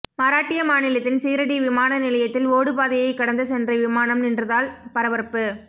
மராட்டிய மாநிலத்தின் சீரடி விமானநிலையத்தில் ஓடுபாதையை கடந்து சென்று விமானம் நின்றதால் பரபரப்பு